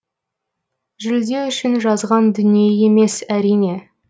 жүлде үшін жазған дүние емес әрине